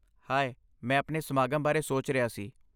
ਹਾਏ, ਮੈਂ ਸਾਡੇ ਸਮਾਗਮ ਬਾਰੇ ਸੋਚ ਰਿਹਾ ਸੀ।